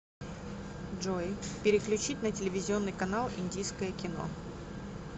джой переключить на телевизионный канал индийское кино